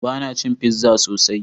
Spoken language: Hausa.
Bana cin pizza sosai.